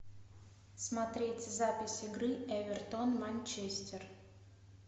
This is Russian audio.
смотреть запись игры эвертон манчестер